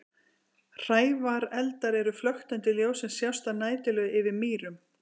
Hrævareldar eru flöktandi ljós sem sjást að næturlagi yfir mýrum.